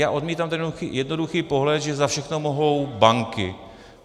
Já odmítám ten jednoduchý pohled, že za všechno mohou banky.